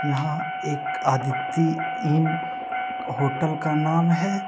यहां एक Aditi inn hotel का नाम है।